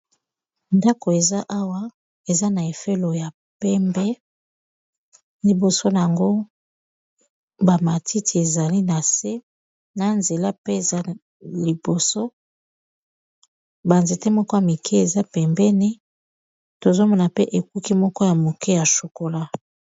ndako eza awa eza na efelo ya pembe liboso na yango bamatiti ezali na se na nzela pe eza liboso banzete moko ya mike eza pembeni tozomona pe ekuki moko ya moke ya chokola